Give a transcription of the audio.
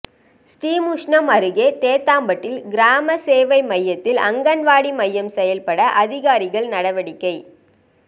ஸ்ரீமுஷ்ணம் அருகே தேத்தாம்பட்டில் கிராம சேவை மையத்தில் அங்கன்வாடி மையம் செயல்பட அதிகாரிகள் நடவடிக்கை